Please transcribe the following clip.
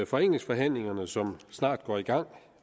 forenklingsforhandlingerne som snart går i gang